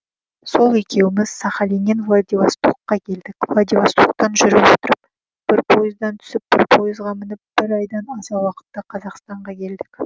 сол екеуміз сахалиннен владивастокқа келдік владивостоктан жүріп отырып бір пойыздан түсіп бір пойызға мініп бір айдан аса уақытта қазақстанға келдік